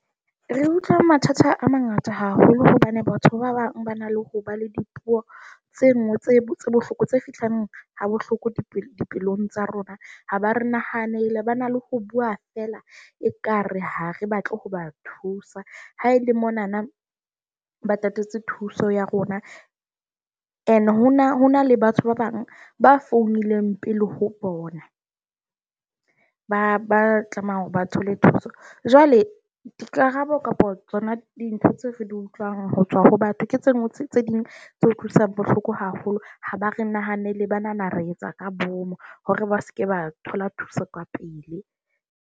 Re utlwa mathata a mangata haholo hobane batho ba bang ba na le ho ba le dipuo tse nngwe tse bohloko, tse fihlang ha bohloko dipelong tsa rona. Ha ba re nahanele ba na le ho bua fela ekare ha re batle ho ba thusa haele monana, ba tatetse thuso ya rona. And ho na ho na le batho ba bang ba founileng pele ho bona, ba ba tlameha hore ba thole thuso. Jwale dikarabo kapa tsona dintho tse re di utlwang ho tswa ho batho, ke tse tse ding tse utlwisang bohloko haholo. Ha ba re nahanele, ba nahana re etsa ka boomo hore ba se ke ba thola thuso kapele.